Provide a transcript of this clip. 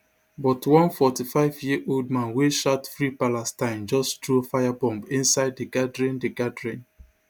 but one forty-fiveyearold man wey shout free palestine just throw fire bomb inside di gathering di gathering